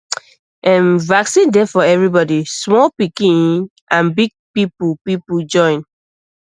ehm vaccine dey for everybodysmall pikin and big people people join